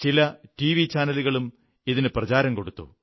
ചില ടിവി ചാനലുകളും ഇതിന് പ്രചാരം കൊടുത്തു